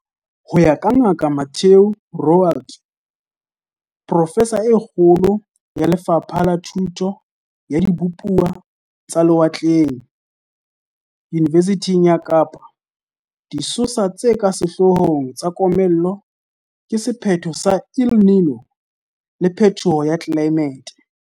Ho ya ka Ngaka Mathieu Roualt, profesa e kgolo ya Le fapha la Thuto ya Dibupuwa tsa Lewatleng Yunivesithing ya Kapa, disosa tse ka sehloo hong tsa komello ke sephetho sa El Niño le phethoho ya tlelaemete.